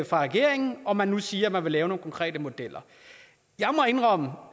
fra regeringen og man siger nu at man vil lave nogle konkrete modeller jeg må indrømme og